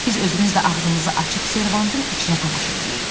Biz özümüzlə ağzımızı açıb servantın içinə tamaşa eləyirdik.